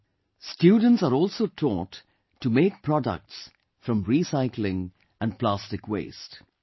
Here students are also taught to make products from recycling and plastic waste